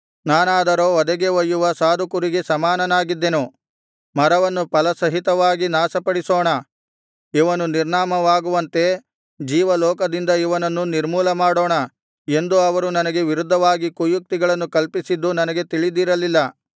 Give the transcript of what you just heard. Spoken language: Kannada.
ನಾನಾದರೋ ವಧೆಗೆ ಒಯ್ಯುವ ಸಾಧು ಕುರಿಗೆ ಸಮಾನನಾಗಿದ್ದೆನು ಮರವನ್ನು ಫಲಸಹಿತವಾಗಿ ನಾಶಪಡಿಸೋಣ ಇವನು ನಿರ್ನಾಮವಾಗುವಂತೆ ಜೀವಲೋಕದಿಂದ ಇವನನ್ನು ನಿರ್ಮೂಲಮಾಡೋಣ ಎಂದು ಅವರು ನನಗೆ ವಿರುದ್ಧವಾಗಿ ಕುಯುಕ್ತಿಗಳನ್ನು ಕಲ್ಪಿಸಿದ್ದು ನನಗೆ ತಿಳಿದಿರಲಿಲ್ಲ